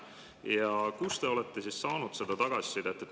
Ja kust te olete saanud tagasisidet?